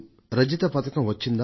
రజతం వచ్చిందా